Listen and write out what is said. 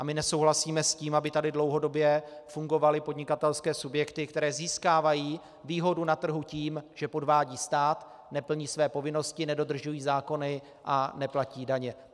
A my nesouhlasíme s tím, aby tady dlouhodobě fungovaly podnikatelské subjekty, které získávají výhodu na trhu tím, že podvádějí stát, neplní své povinnosti, nedodržují zákony a neplatí daně.